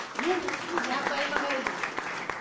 мен өзім жағдайыма қарай беремін